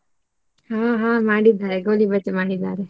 ಹಾ ಹಾ ಮಾಡಿದ್ದಾರೆ ಗೋಳಿಬಜೆ ಮಾಡಿದ್ದಾರೆ.